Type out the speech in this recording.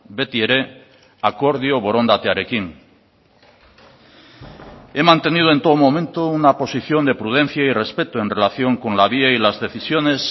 beti ere akordio borondatearekin he mantenido en todo momento una posición de prudencia y respeto en relación con la vía y las decisiones